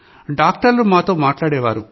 డాక్టర్లు మాతో మాట్లాడేవారు